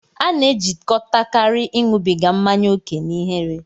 A na-ejikọtakarị ịṅụbiga mmanya ókè na ihere.